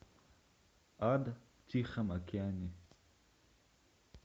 ад в тихом океане